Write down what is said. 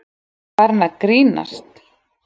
Var hann að grínast?